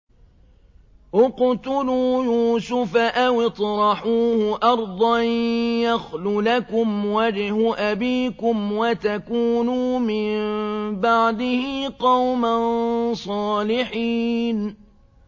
اقْتُلُوا يُوسُفَ أَوِ اطْرَحُوهُ أَرْضًا يَخْلُ لَكُمْ وَجْهُ أَبِيكُمْ وَتَكُونُوا مِن بَعْدِهِ قَوْمًا صَالِحِينَ